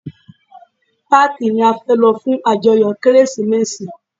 Páàkí ni a fẹ́ lọ fún ajoyo Kérésìmesì.